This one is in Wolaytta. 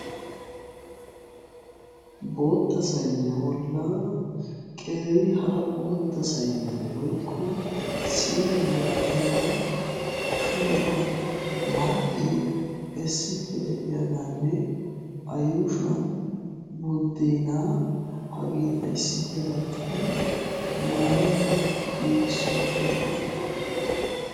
Bootta sayniyaa bollan qeeri hara bootta sayniyaan woykko siine malatiyaaban ashuwaara maraqee issippe de"iyaaganne A yuushuwan buddeenaa hageeta issippe gattidi maanaw giigissi uttidoogeeta.